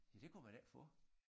Ja det kunne man ikke få